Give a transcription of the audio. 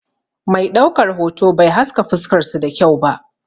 Mai ɗaukar hoto bai haska fuskar su da kyau ba.